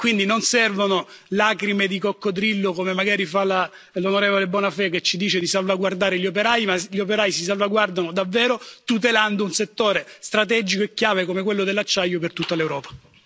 Quindi, non servono lacrime di coccodrillo, come magari fa l'onorevole Bonafè che ci dice di salvaguardare gli operai. Gli operai si salvaguardano davvero tutelando un settore strategico e chiave come quello dell'acciaio per tutta l'Europa.